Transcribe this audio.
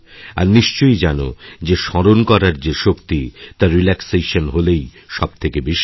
আর নিশ্চয়ই জানোযে স্মরণ করার যে শক্তি তা রিল্যাক্সেশন হলেই সবথেকে বেশি হয়